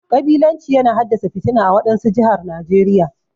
Kabilanci yana haddasa fitina ã wadansu jihar Najeriya.